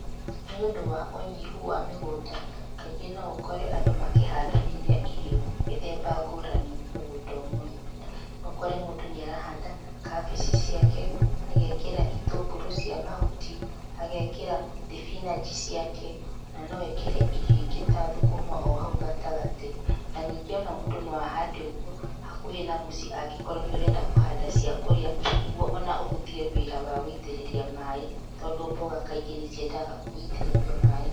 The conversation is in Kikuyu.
Nĩũndũ wa ũnyihu wa mĩgũnda, kaingĩ no ũkore andũ makĩhandanĩria irio mĩthemba ngũrani mũgũnda ũmwe. No ũkore mũndũ nĩ arahanda kambici ciake, agekĩra itũngũrũ cia mahuti, agekĩra thibinanji ciake, ona no ekĩre irio ingĩ ta thũkũma hau gatagatĩ. Na ningĩ o na mũndũ no ahande ũguo hakuhi na mũciĩ angĩkorwo nĩ ũrenda kũhanda cia kũri,a nĩguo ona ũhũthie wĩra wa gũitĩrĩria maĩ tondũ mboga kaingĩ nĩ ciendaga gũitĩrĩrio maĩ.